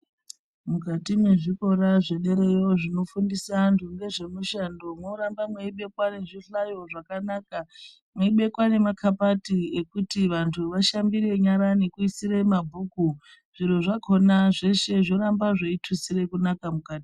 Mukati mwezvikora zvedereyo zvinofundisa antu ngezvemishando mworambo meibekwa nezvihlayo zvakanaka, meibekwa nemakabati ekuti antu ashambire nyara nekuisire mabhuku, zviro zvakona zveshe zvoramba zveitutsire kunaka mukati